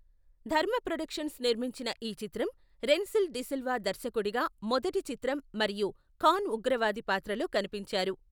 ధర్మ ప్రొడక్షన్స్ నిర్మించిన ఈ చిత్రం రెన్సిల్ డిసిల్వా దర్శకుడిగా మొదటి చిత్రం మరియు ఖాన్ ఉగ్రవాది పాత్రలో కనిపించారు.